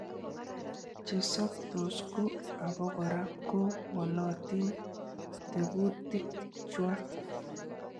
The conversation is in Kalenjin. Chesoptos ko obokora ko wolotin tekutikchwak.